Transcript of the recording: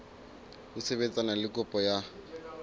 ho sebetsana le kopo ya